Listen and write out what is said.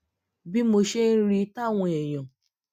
bí mo ṣe ń rí i táwọn èèyàn